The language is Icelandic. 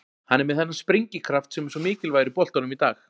Hann er með þennan sprengikraft sem er svo mikilvægur í boltanum í dag.